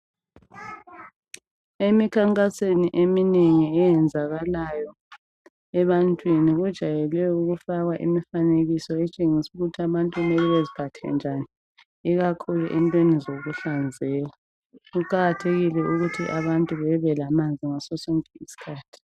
Emikhankasweni eminengi eyenzekalayo ebantwini kujwayelwe ukufakwa imifanekiso etshengisa ukuthi abantu kumele beziphathe njani ikakhulu entweni zokuhlanzeka. Kuqakathekile ukuthi abantu bebelamanzi ngaso sonke isikhathi.